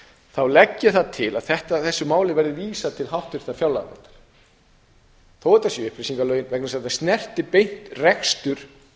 þá legg ég það til að þessu máli verði vísað til háttvirtrar fjárlaganefndar þó þetta séu upplýsingalögin vegna þess að þetta snertir beint rekstur